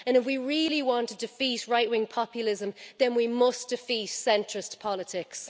If we really want to defeat right-wing populism, then we must defeat centrist politics.